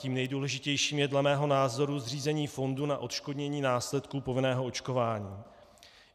Tím nejdůležitějším je dle mého názoru zřízení fondu na odškodnění následků povinného očkování.